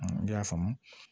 ne y'a faamu